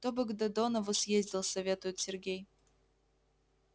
кто бы к додонову съездил советует сергей